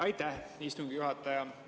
Aitäh, istungi juhataja!